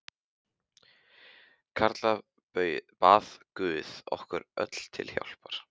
Karla bað guð okkur öllum til hjálpar.